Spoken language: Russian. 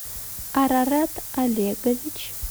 арарат олегович